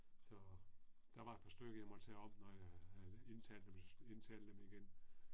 Så, der var et par stykker jeg måtte tage om, når jeg havde indtalt dem så indtale dem igen